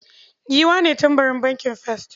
Giwa ne tambarin bankin first.